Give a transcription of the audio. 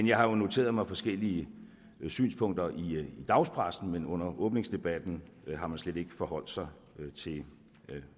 jeg har jo noteret mig forskellige synspunkter i dagspressen men under åbningsdebatten har man slet ikke forholdt sig til